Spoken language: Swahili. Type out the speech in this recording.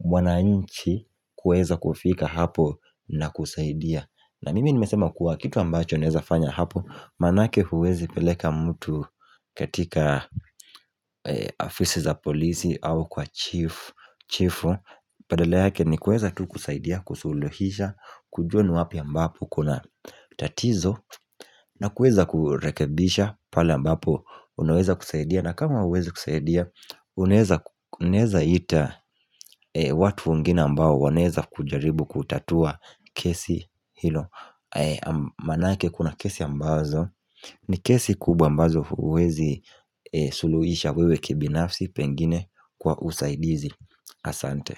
wanainchi kueza kufika hapo na kusaidia na mimi nimesema kuwa kitu ambacho naeza fanya hapo Maanake huwezi peleka mtu katika afisi za polisi au kwa chief baadala yake ni kueza tu kusaidia, kusulohisha kujua ni wapi ambapo kuna tatizo na kueza kurekebisha pale ambapo Unaweza kusaidia na kama hauwezi kusaidia Unaeza ita watu wengine ambao wanaeza kujaribu kutatua kesi hilo Maanake kuna kesi ambazo ni kesi kubwa ambazo huwezi suluhisha wewe kibinafsi pengine kwa usaidizi Asante.